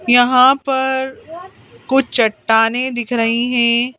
यहाँ पर कुछ चट्टानें दिख रही हैं।